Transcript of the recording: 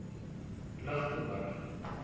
lichtenburg